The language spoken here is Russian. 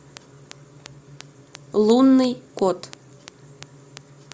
лунный кот